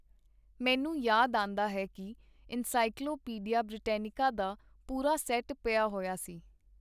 ਮੈਨੂੰ ਯਾਦ ਆਂਦਾ ਹੈ ਕੀ ਐਨਸਾਈਕੋਲਵੋਪੀਡੀਆ ਬ੍ਰਿਟੈਨਿਕਾ ਦਾ ਪੂਰਾ ਸੈਟ ਪਿਆ ਹੋਇਆ ਸੀ.